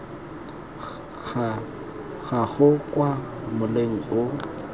ga gago kwa moleng o